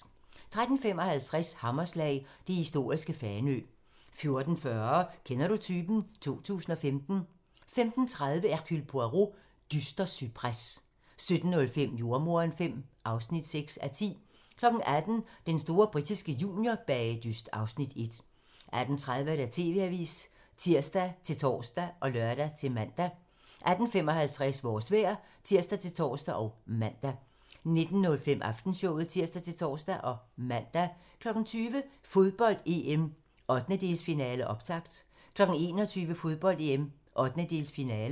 13:55: Hammerslag - det historiske Fanø 14:40: Kender du typen? 2015 15:30: Hercule Poirot: Dyster cypres 17:05: Jordemoderen V (6:10) 18:00: Den store britiske juniorbagedyst (Afs. 1) 18:30: TV-avisen (tir-tor og lør-man) 18:55: Vores vejr (tir-tor og man) 19:05: Aftenshowet (tir-tor og man) 20:00: Fodbold: EM - 1/8-finale, optakt 21:00: Fodbold: EM - 1/8-finale